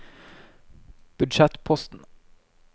budsjettposten